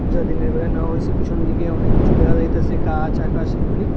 যা দিনের বেলা নেওয়া হইসে পিছনদিকে অনেক কিছু দেখা যাইতাসে গাছ আকাশ এইগুলি।